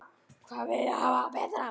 Hvað viltu hafa það betra?